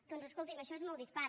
doncs escolti’m això és molt dispar